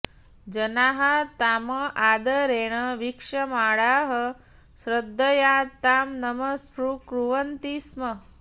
जनाः ताम् आदरेण वीक्षमाणाः श्रद्धया तां नमस्कुर्वन्ति स्म